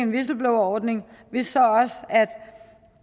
whistleblowerordning hvis